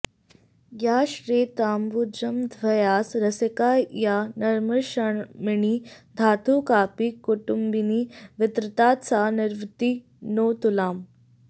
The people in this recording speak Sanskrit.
या श्वेताम्बुजमध्यवासरसिका या नम्ररक्षामणिः धातुः कापि कुटुम्बिनी वितरतात् सा निर्वृतिं नोऽतुलाम्